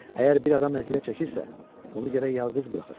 Əgər bir adam əziyyət çəkirsə, onu gərək yalqız buraxasan.